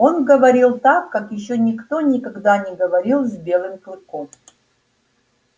он говорил так как ещё никто никогда не говорил с белым клыком